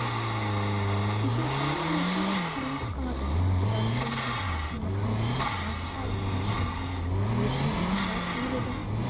кеше ханның нөкері қырылып қалады бұдан жеңілген соң темір хан ат шабысына шығады өзінің бар жүйрігін